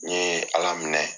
N ɲe ala minɛ